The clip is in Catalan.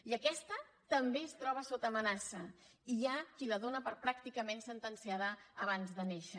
i aquestaamenaça i hi ha qui la dóna per pràcticament sentenciada abans de néixer